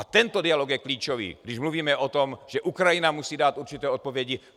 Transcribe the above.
A tento dialog je klíčový, když mluvíme o tom, že Ukrajina musí dát určité odpovědi.